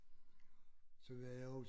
Så var jeg hos